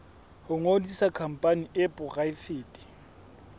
ho ngodisa khampani e poraefete